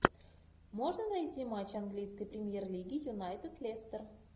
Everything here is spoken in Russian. можно найти матч английской премьер лиги юнайтед лестер